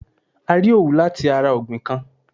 A rí Òwú lati ara ọ̀gbìn kan.